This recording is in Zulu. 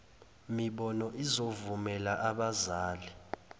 mibono izovumela abazali